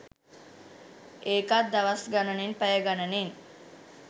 ඒකත් දවස් ගණනෙන් පැය ගණනෙන්